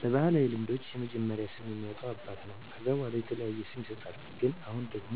በባህላዊ ልምዶች የመጀመሪያውን ስም የሚያወጣ አባት ነው ከዛ በዋላ የተለያየ ስም ይሰጥሃል ግን አሁን ደግሞ